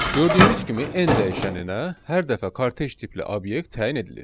Gördüyünüz kimi, n dəyişəninə hər dəfə kortec tipli obyekt təyin edilir.